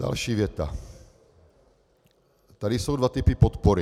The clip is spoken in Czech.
Další věta: "Tady jsou dva typy podpory.